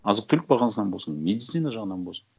азық түлік бағасынан болсын медицина жағынан болсын